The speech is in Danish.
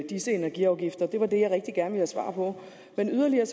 disse energiafgifter det var det jeg rigtig gerne svar på men yderligere